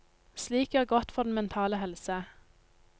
Slik gjør godt for den mentale helse.